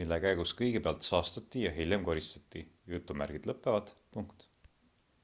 mille käigus kõigepealt saastati ja hiljem koristati